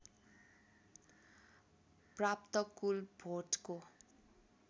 प्राप्त कुल भोटको